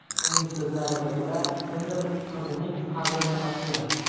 Uning so‘zlariga ko‘ra, kimdir qizining qabrini ochgan.